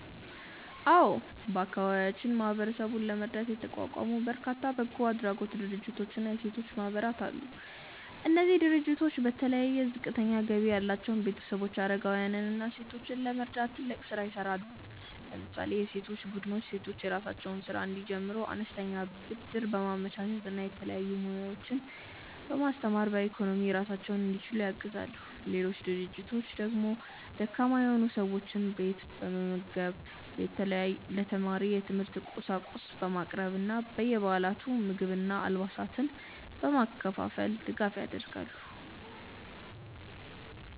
አዎ፣ በአካባቢያችን ማህበረሰቡን ለመርዳት የተቋቋሙ በርካታ በጎ አድራጎት ድርጅቶችና የሴቶች ማህበራት አሉ። እነዚህ ድርጅቶች በተለይ ዝቅተኛ ገቢ ያላቸውን ቤተሰቦች፣ አረጋውያንን እና ሴቶችን ለመርዳት ትልቅ ስራ ይሰራሉ። ለምሳሌ የሴቶች ቡድኖች ሴቶች የራሳቸውን ስራ እንዲጀምሩ አነስተኛ ብድር በማመቻቸት እና የተለያዩ ሙያዎችን በማስተማር በኢኮኖሚ ራሳቸውን እንዲችሉ ያግዛሉ። ሌሎች ድርጅቶች ደግሞ ደካማ የሆኑ ሰዎችን ቤት በመጠገን፣ ለተማሪዎች የትምህርት ቁሳቁስ በማቅረብ እና በየበዓላቱ ምግብና አልባሳትን በማከፋፈል ድጋፍ ያደርጋሉ።